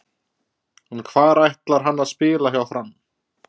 En hvar ætlar hann að spila hjá Fram?